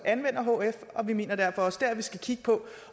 anvender hf vi mener derfor også at vi skal kigge på